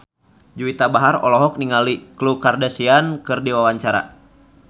Juwita Bahar olohok ningali Khloe Kardashian keur diwawancara